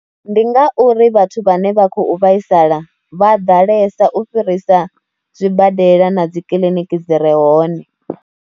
Ndi nga uri vhathu vhane vha khou vhaisala vha ḓalesa u fhirisa zwibadela na dzi kiliniki dzi re hone.